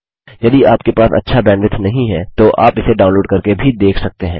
यदि आपके पास अच्छा बैन्डविड्थ नहीं है तो आप इसे डाउनलोड़ करके भी देख सकते हैं